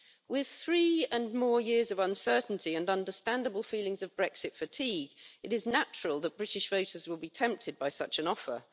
With three and more years of uncertainty and understandable feelings of Brexit fatigue, it is natural that British voters will be tempted by such an offer.